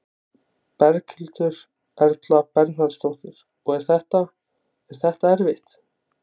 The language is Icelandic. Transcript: Berghildur Erla Bernharðsdóttir: Og er þetta, er þetta erfitt?